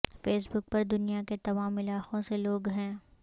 face بک پر دنیا کے تمام علاقوں سے لوگ ہیں